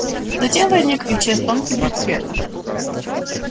затем возник и исчез тонкий блик света